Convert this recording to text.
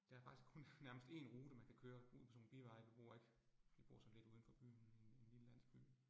Der faktisk kun nærmest én rute man kan køre ud på sådan nogle biveje, vi bor ikke, vi bor sådan lidt uden for byen i en i en lille landsby